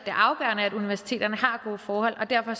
universiteterne har gode forhold derfor